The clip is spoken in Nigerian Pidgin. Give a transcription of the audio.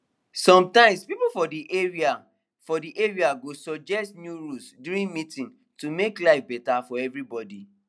sometimes people for the for the area go suggest new rules during meeting to make life better for everybody